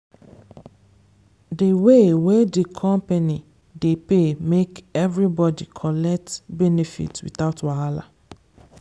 di way wey di company dey pay make everybody collect benefit without wahala.